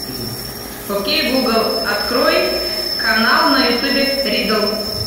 окей гугл открой канал на ютубе риддл